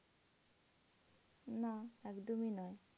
না একদমই নয়।